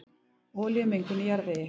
Olíumengun í jarðvegi